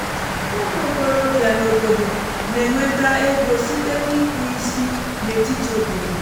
ụmụ okorobịa n’obodo na-enweta ego site n’ikpụ isi n’etiti obodo